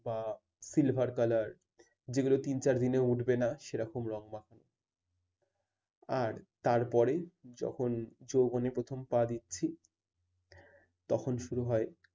বা silver color যেগুলো তিন-চার দিনেও উঠবে না সেরকম রঙ মাখা আর তারপরে যখন যৌবনে প্রথম পা দিচ্ছি তখন শুরু হয়